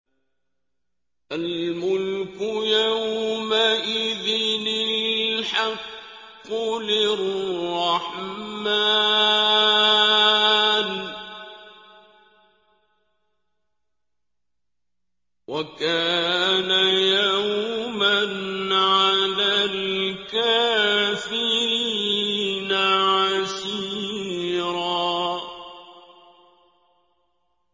الْمُلْكُ يَوْمَئِذٍ الْحَقُّ لِلرَّحْمَٰنِ ۚ وَكَانَ يَوْمًا عَلَى الْكَافِرِينَ عَسِيرًا